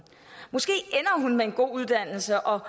måske ender hun med en god uddannelse og